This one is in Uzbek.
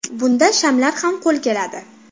Bunda shamlar ham qo‘l keladi.